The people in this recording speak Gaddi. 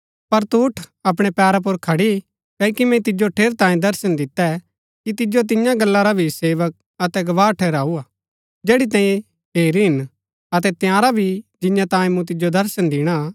पर तु उठ अपणै पैरा पुर खड़ी क्ओकि मैंई तिजो ठेरैतांये दर्शन दितै कि तिजो तियां गल्ला रा भी सेवक अतै गवाह ठहराऊ जैड़ी तैंई हेरी हिन अतै तंयारा भी जिंआं तांयें मूँ तिजो दर्शन दिणा